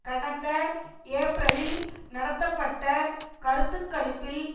கடந்த ஏப்ரலில் நடத்தப்பட்ட கருத்து கணிப்பில்